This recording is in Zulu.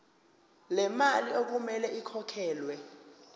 lemali okumele ikhokhelwe